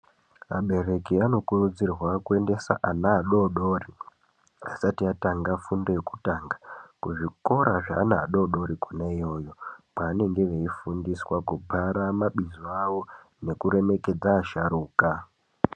Abereki anokurudzirwa kuendesa ana adodori asati atanga fundo yekutanga kuzvikora zveana adodori ,kona iyoyo kwanenge veifundiswa kubhara mabizo awo nekuremekedza asharukwa.